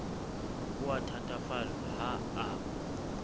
o a thatafallwa ha a